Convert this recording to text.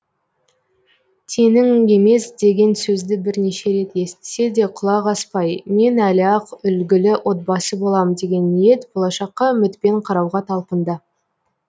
теңің емес деген сөзді бірнеше рет естісе де құлақ аспай мен әлі ақ үлгілі отбасы болам деген ниет болашаққа үмітпен қарауға талпынды